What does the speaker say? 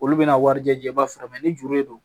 Olu bɛna warijɛba fara ni juru de don